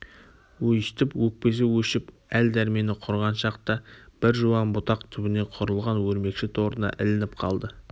өстіп өкпесі өшіп әл-дәрмені құрыған шақта бір жуан бұтақ түбіне құрылған өрмекші торына ілініп қалды